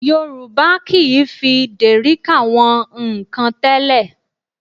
Yorùbá kì í fi dèríkà wọn nnkan tẹ́lẹ̀